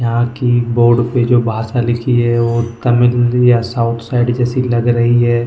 यहां की बोर्ड पे जो भाषा लिखी है वो तमिल या साउथ साइड जैसी लग रही है।